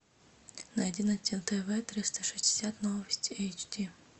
найди на тв триста шестьдесят новости эйч ди